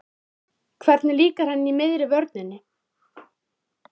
Hvernig líkar henni í miðri vörninni?